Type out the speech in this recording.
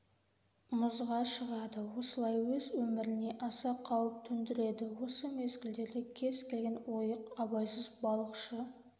мұзға шығады осылай өз өміріне аса қауіп төндіреді осы мезгілдерде кез келген ойық абайсыз балықшы